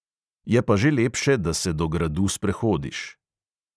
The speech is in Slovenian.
Je pa že lepše, da se do gradu sprehodiš.